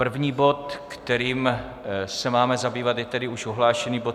První bod, kterým se máme zabývat, je tedy už ohlášený bod